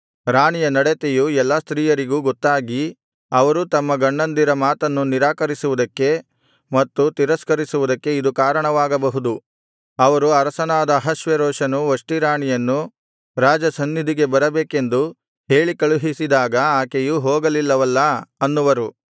ರಾಣಿಯ ನಡತೆಯು ಎಲ್ಲಾ ಸ್ತ್ರೀಯರಿಗೂ ಗೊತ್ತಾಗಿ ಅವರೂ ತಮ್ಮ ಗಂಡಂದಿರ ಮಾತನ್ನು ನಿರಾಕರಿಸುವುದಕ್ಕೆ ಮತ್ತು ತಿರಸ್ಕರಿಸುವುದಕ್ಕೆ ಇದು ಕಾರಣವಾಗಬಹುದು ಅವರು ಅರಸನಾದ ಅಹಷ್ವೇರೋಷನು ವಷ್ಟಿ ರಾಣಿಯನ್ನು ರಾಜಸನ್ನಿಧಿಗೆ ಬರಬೇಕೆಂದು ಹೇಳಿಕಳುಹಿಸಿದಾಗ ಆಕೆಯು ಹೋಗಲಿಲ್ಲವಲ್ಲಾ ಅನ್ನುವರು